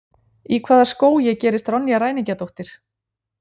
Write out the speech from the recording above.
Í hvaða skógi gerist Ronja ræningjadóttir?